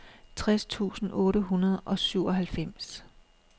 tres tusind otte hundrede og syvoghalvfems